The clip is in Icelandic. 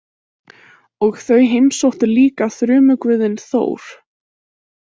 Og þau heimsóttu líka þrumuguðinn Þór.